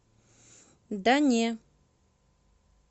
да не